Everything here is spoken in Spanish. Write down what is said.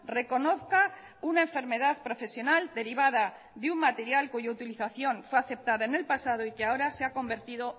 reconozca una enfermedad profesional derivada de un material cuya utilización fue aceptada en el pasado y que ahora se ha convertido